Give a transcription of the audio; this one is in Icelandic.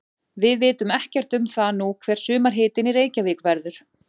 Við vitum ekkert um það nú hver sumarhitinn í Reykjavík verður.